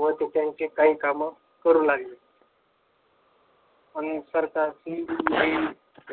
व त्यांची काही कामे करू लागली आणि सरकारनी